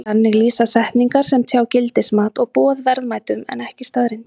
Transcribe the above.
Þannig lýsa setningar sem tjá gildismat og boð verðmætum en ekki staðreyndum.